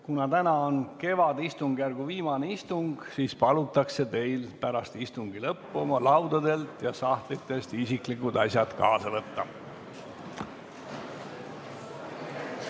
Kuna täna on kevadistungjärgu viimane istung, siis palutakse teil pärast istungi lõppu oma laudadelt ja sahtlitest isiklikud asjad kaasa võtta.